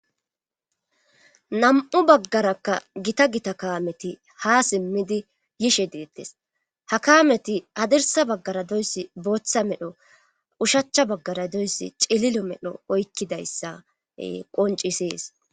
nam'u bagarakka gita gita kaameti ha simmidi yishe diittes ha kaameti hadirsa baggara doyssi booththa medho ushachcha baggara doyssi c'lilo medho oykkidayssa qoncisees